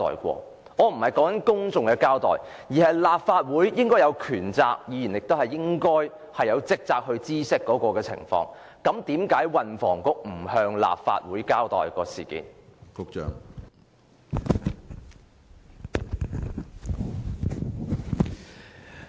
我並非指向公眾交代，而是立法會應有權責，以及議員亦應有職責知悉有關情況，為何運輸及房屋局不向立法會交代事件？